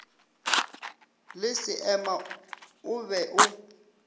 le seema o be o